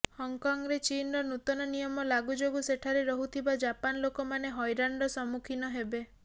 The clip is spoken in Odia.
ହଂକଂରେ ଚୀନର ନୂତନ ନିୟମ ଲାଗୁ ଯୋଗୁ ସେଠାରେ ରହୁଥିବା ଜାପାନ ଲୋକମାନେ ହଇରାଣର ସମ୍ମୁଖୀନ ହେବେ